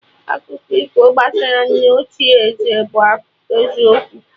Akụkọ ifo gbasara nne ochie ézẹ̀ bụ eziokwu